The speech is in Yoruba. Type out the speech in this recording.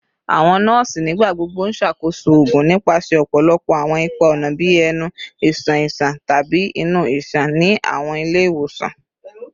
Awọn nọọsi nigbagbogbo n ṣakoso oogun nipasẹ ọpọlọpọ awọn ipa-ọna bii ẹnu, iṣan iṣan, tabi inu iṣan ni awọn ile-iwosan